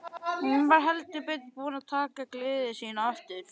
Hún var heldur betur búin að taka gleði sína aftur.